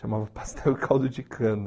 Chamava Pastel e Caldo de Cana.